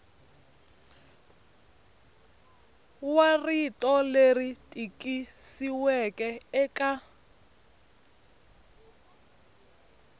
wa rito leri tikisiweke eka